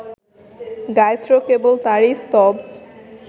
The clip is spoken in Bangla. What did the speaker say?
গায়ত্রী কেবল তাঁরই স্তব